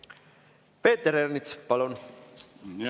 Peeter Ernits, palun!